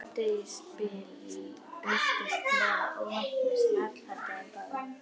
Um hádegisbil birtist Klara óvænt með snarl handa þeim báðum.